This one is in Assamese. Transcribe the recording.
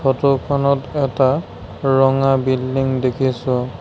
ফটো খনত এটা ৰঙা বিল্ডিং দেখিছোঁ।